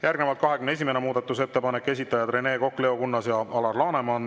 Järgnevalt 21. muudatusettepanek, esitajad Rene Kokk, Leo Kunnas ja Alar Laneman.